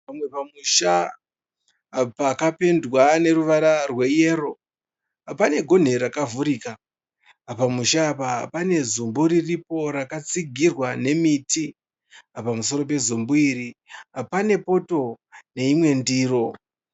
Pamwe pamusha pakapendwa neruvara rweyero. Pane gonhi rakavhurika. Pamusha apa pane zumbu riripo rakatsigirwa nemiti. Pamusoro pezumbu iri pane poto neimwe ndiro.